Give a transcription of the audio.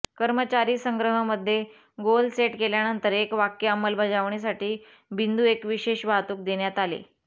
कर्मचारी संग्रह मध्ये गोल सेट केल्यानंतर एक वाक्य अंमलबजावणीसाठी बिंदू एक विशेष वाहतूक देण्यात आले